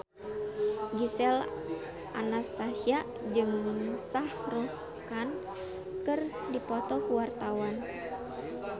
Gisel Anastasia jeung Shah Rukh Khan keur dipoto ku wartawan